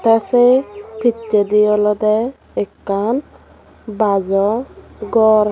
te se pichedi olode ekkan bajo ghor.